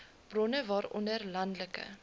bronne waaronder landelike